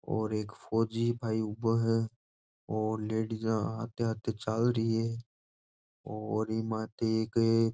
और एक फोजीभाई उवो है और लेडीजा अटे अटे चालरी है और इ माथे एक --